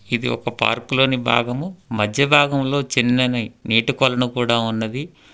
ఇది ఒక పార్కు లోని భాగము మధ్య భాగంలో చిన్నవి నీటికొలను కూడా ఉన్నది.